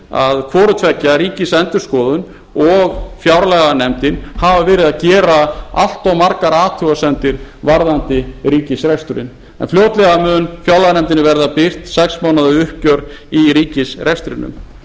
að hvorutveggja ríkisendurskoðun og fjárlaganefndin hafa verið að gera allt of margar athugasemdir varðandi ríkisreksturinn en fljótlega mun fjárlaganefndinni verða birt sex mánaða uppgjör í ríkisrekstrinum